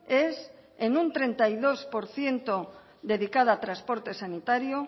es en un treinta y dos por ciento dedicada a transporte sanitario